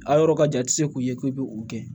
A yɔrɔ ka jan i tɛ se k'u ye k'i bɛ u kɛ